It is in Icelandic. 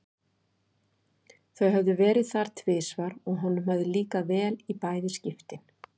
Þau höfðu verið þar tvisvar og honum hafði líkað vel í bæði skiptin.